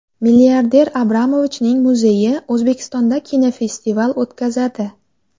Milliarder Abramovichning muzeyi O‘zbekistonda kinofestival o‘tkazadi.